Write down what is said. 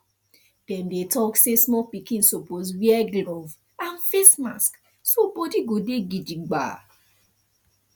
dem dey talk say small pikin suppose wear glove and face mask so body go dey gidigba